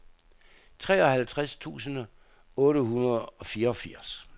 treoghalvtreds tusind otte hundrede og fireogfirs